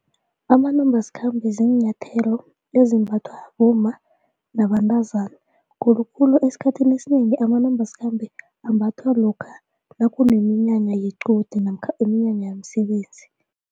Amanambasikhambe ziinyathelo ezimbathwa bomma nabantazana khulukhulu esikhathini esinengi amanambasikhambe ambathwa lokha nakuneminyanya yequde namkha iminyanya yemisebenzi.